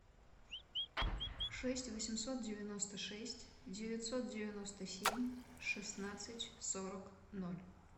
шесть восемьсот девяносто шесть девятьсот девяносто семь шестнадцать сорок ноль